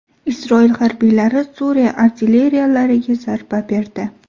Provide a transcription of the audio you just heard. Isroil harbiylari Suriya artilleriyalariga zarba berdi.